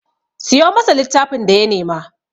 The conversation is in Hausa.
Siyo masa littafin da ya nema!